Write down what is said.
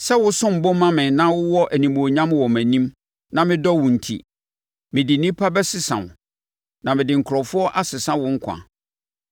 Sɛ wo som bo ma me na wowɔ animuonyam wɔ mʼanim na medɔ wo enti, mede nnipa bɛsesa wo, na mede nkurɔfoɔ asesa wo nkwa.